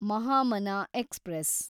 Mahamana express